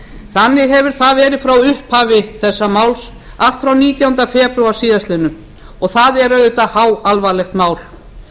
þannig hefur það verið frá upphafi þessa máls allt frá nítjándu febrúar síðastliðinn og það er auðvitað háalvarlegt mál